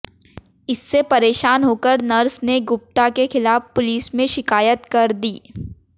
इससे परेशान होकर नर्स ने गुप्ता के खिलाफ पुलिस में शिकायत कर दी